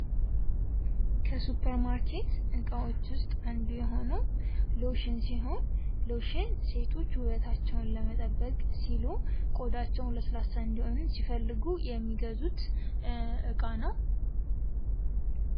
ከ ሱፐርማርኬት እቃዎቹ ውስጥ አንዱ የሆነው ሎሽን ሲሆን ሎሽን ሴቶች ውበታቸውን ለመጠበቅ ሲሉ ቆዳቸው ለስላሳ እንዲሆን ሲፈልጉ የሚገዙት እቃ ነው ።